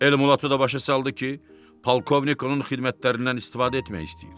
Elmulato da başa saldı ki, polkovnik onun xidmətlərindən istifadə etmək istəyir.